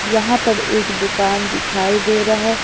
यहां पर एक दुकान दिखाई दे रहा है।